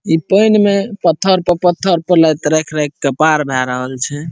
इ पेन मे पत्थर पर पत्थर पर लाएत राएख राएख के पार भय रहल छै।